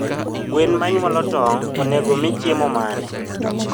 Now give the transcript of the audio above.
Gwen manyuolo tong onego omii chiemo mane